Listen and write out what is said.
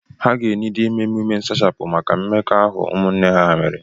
Ha ga-eniidi ime emume nsachapụ maka mmekọahụ ụmụnne ha mere.